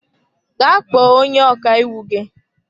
Gaa kpọọ onye ọkàiwu gị!